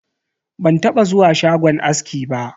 Ban taba zuwa shagon aski ba.